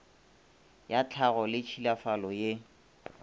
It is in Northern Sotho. ya tlhago le tšhilafalo ye